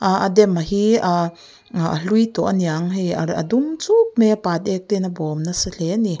ah a dam hi ah a hlui tawh aniang hei a dum chuk mai a pat ek ten a bawm nasa hle ani.